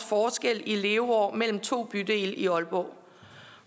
forskel i leveår mellem to bydele i aalborg